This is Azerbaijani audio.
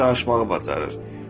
ancaq danışmağı bacarır.